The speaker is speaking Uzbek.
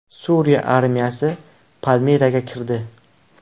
Suriya armiyasi Palmiraga kirdi .